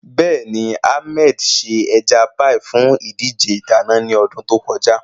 Bẹ́ẹ̀ni, Ahmed ṣe ẹja páì fún ìdíje ìdáná ní ọdún tó kọjá.